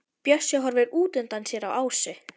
Bjössi horfir útundan sér á Ásu.